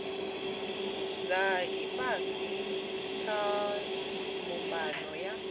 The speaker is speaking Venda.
dza ifhasi kha mbumbano ya